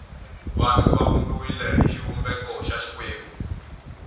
vanhu va vumbiwile hi xivumbeko xa xikwembu